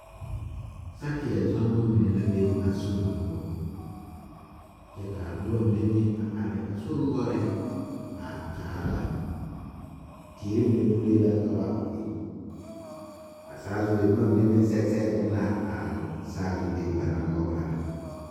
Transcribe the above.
Sakieɛ zɔnnemɔ mine la be a sori ŋa poɔ kyɛ kaa nobɔ mine meŋ a are a sori noɔreŋ a kaara ba teere mine pulee la ka ba be a saazurree bomma mine meŋ sɛge sɛge eŋ la a saazu be ba naŋ wa para.